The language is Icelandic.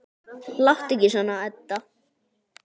Láttu ekki svona, Edda.